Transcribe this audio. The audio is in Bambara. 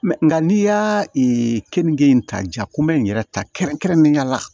Nka n'i y'a keninke in ta jakobɛ in yɛrɛ ta kɛrɛnkɛrɛnnenya la